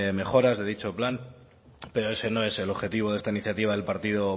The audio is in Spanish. mejora de dicho plan pero ese no es el objetivo de esta iniciativa del partido